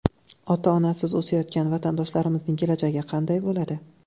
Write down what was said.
ota-onasiz o‘sayotgan vatandoshlarimizning kelajagi qanday bo‘ladi?